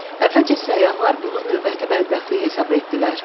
Əvvəlcə səyyahlar bunu növbəti bədbəxtlik hesab etdilər.